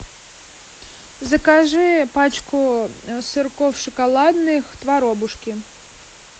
закажи пачку сырков шоколадных творобушки